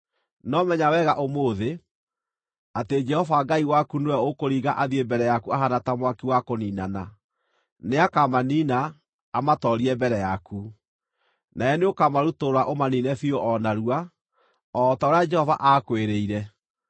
No menya wega ũmũthĩ atĩ Jehova Ngai waku nĩwe ũkũringa athiĩ mbere yaku ahaana ta mwaki wa kũniinana. Nĩakamaniina; amatoorie mbere yaku. Nawe nĩũkamarutũrũra ũmaniine biũ o narua, o ta ũrĩa Jehova aakwĩrĩire.